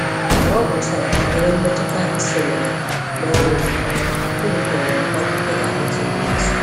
Mgbe ọ gụchàrà banyere mmetụta ịsonyere na ọrụ obodo, obi tọrọ ya ụtọ ịga ịtụ vootu